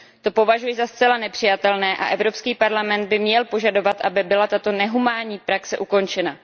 To považuji za zcela nepřijatelné a Evropský parlament by měl požadovat, aby byla tato nehumánní praxe ukončena.